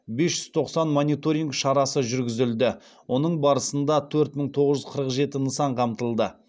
бес жүз тоқсан мониторинг шарасы жүргізілді оның барысында төрт мың тоғыз жүз қырық жеті нысан қамтылды